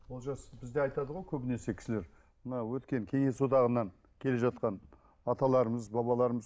олжас бізде айтады ғой көбінесе кісілер мына өткен кеңес одағынан келе жатқан аталарымыз бабаларымыз